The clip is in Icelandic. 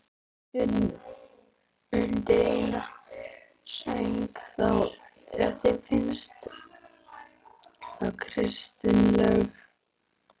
Undir eina sæng þá, ef þér finnst það kristilegra.